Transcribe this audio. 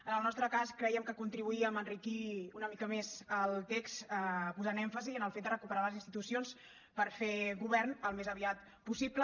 en el nostre cas crèiem que contribuíem a enriquir una mica més el text posant èmfasi en el fet de recuperar les institucions per fer govern al més aviat possible